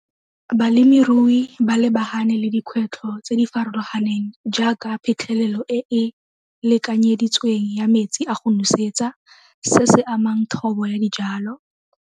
Balemirui ba lebagane le dikgwetlho tse di farologaneng jaaka phitlhelelo e e lekanyeditsweng ya metsi a go nosetsa se se amang thobo ya dijalo.